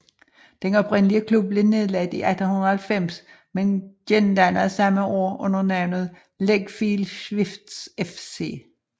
Den oprindelige klub blev nedlagt i 1890 men gendannet samme år under navnet Legfield Swifts FC